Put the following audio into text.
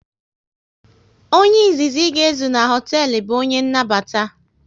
Onye izizi ị ga ezu na hoteelu bụ onye nnabata